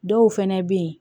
Dɔw fɛnɛ be yen